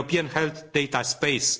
health data space